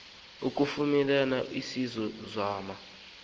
kufumaneke ezi mo